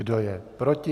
Kdo je proti?